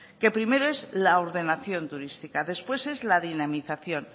que primero es la ordenación turística después es la dinamización